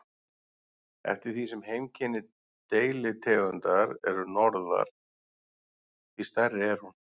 Eftir því sem heimkynni deilitegundar er norðar, því stærri er hún.